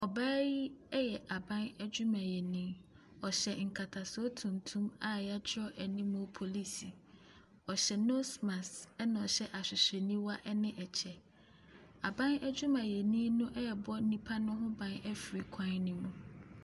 Ɔbaa yi ɛyɛ aban adwumayɛni, ɔhyɛ nkatasoɔ tuntum a wɔatwerɛ anim polisi. Ɔhyɛ nose mask, ɛna ɔhyɛ ahwehwɛniwa ɛne ɛkyɛ. Aban adwumayɛni no ɛrebɔ nnipa ho ban ɛfiri kwan ne mu.